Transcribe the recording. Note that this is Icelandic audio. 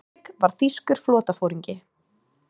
Diðrik var þýskur flotaforingi.